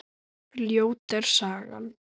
Ljót er sagan.